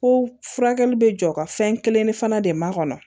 Ko furakɛli bɛ jɔ ka fɛn kelen fana di ma kɔnɔ